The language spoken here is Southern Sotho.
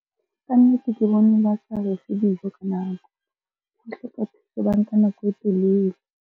Kannete, ke bone ba sa refe dijo ka nako, nako e telele.